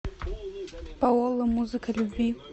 паола музыка любви